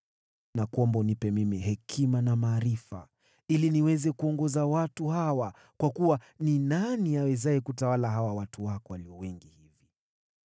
Nakuomba unipe mimi hekima na maarifa, ili niweze kuongoza watu hawa, kwa kuwa ni nani awezaye kutawala hawa watu wako walio wengi hivi?”